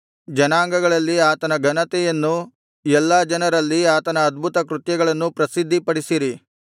ಜನಾಂಗಗಳಲ್ಲಿ ಆತನ ಘನತೆಯನ್ನು ಎಲ್ಲಾ ಜನರಲ್ಲಿ ಆತನ ಅದ್ಭುತಕೃತ್ಯಗಳನ್ನೂ ಪ್ರಸಿದ್ಧಿಪಡಿಸಿರಿ